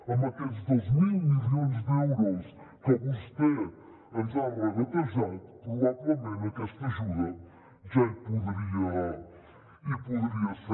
amb aquests dos mil milions d’euros que vostè ens ha regatejat probablement aquesta ajuda ja hi podria ser